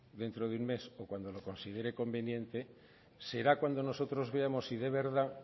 dentro de un mes o cuando lo considere conveniente será cuando nosotros veamos si de verdad